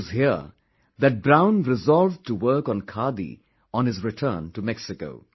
It was here that Brown resolved to work on khadi on his return to Mexico